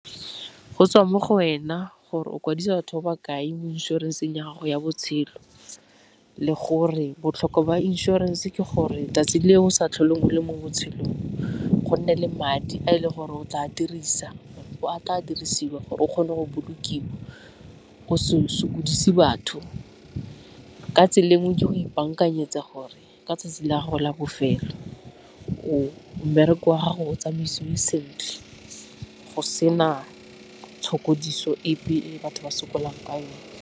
Go tswa mo go wena gore o kwadisa batho ba ba kae mo inšorenseng ya gago ya botshelo, le gore botlhokwa ba inšorense ke gore 'tsatsi leo o sa tlhole o le mo botshelong go nne le madi a e leng gore o tla dirisa dirisiwa gore o kgone go bolokiwa o se sokodise batho. Ka tsela e nngwe ke go ipakanyetsa gore ka tsatsi la goga bofelo mmereko wa gago o tsamaisiwe sentle, go sena tshokodiso epe e batho ba sokolang ka yone.